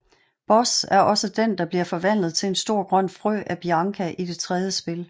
Buzz er også den der bliver forvandlet til en stor grøn frø af Bianca i det tredje spil